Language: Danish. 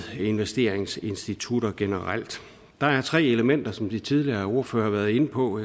investeringsinstitutter generelt der er tre elementer som de tidligere ordførere har været inde på